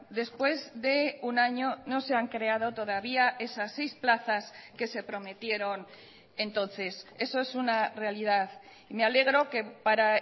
después de un año no se han creado todavía esas seis plazas que se prometieron entonces eso es una realidad y me alegro que para